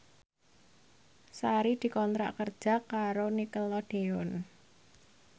Sari dikontrak kerja karo Nickelodeon